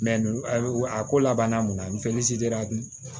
a ko laban na mun na